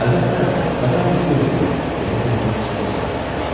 Əlbəttə, Vətən bizi gözləyir deyə bu dəfə ciddi cavab vermişdi.